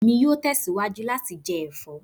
Emi yoo tẹsiwaju lati jẹ ẹfọ